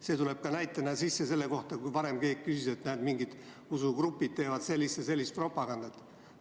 See on näide selle kohta, et enne keegi küsis, et mingid usugrupid teevad sellist ja sellist propagandat.